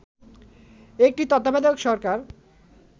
একটি তত্ত্বাবধায়ক সরকার